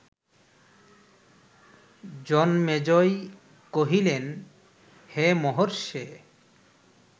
জনমেজয় কহিলেন, হে মহর্ষে